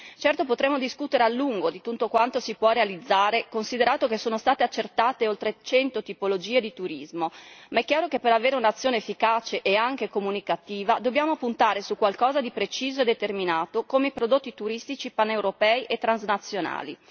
Certo potremmo discutere a lungo di tutto quanto si può realizzare, considerato che sono state accertate oltre 100 tipologie di turismo, ma è chiaro che per avere un'azione efficace e anche comunicativa dobbiamo puntare su qualcosa di preciso e determinato come i prodotti turistici paneuropei e transnazionali.